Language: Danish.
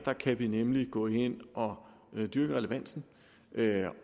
kan vi nemlig gå ind og dyrke relevansen